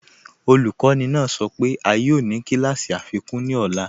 Ọlukọni naa sọ pe a yoo ni kílàsí afikun ní ọ̀là.